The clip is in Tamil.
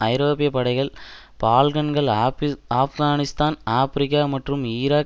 ஐரோப்பிய படைகள் பால்கன்கள் ஆப்கானிஸ்தான் ஆபிரிக்கா மற்றும் ஈராக்